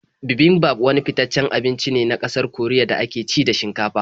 Bibimbap wani fitaccen abinci ne na ƙasar Koriya da ake ci da shinkafa.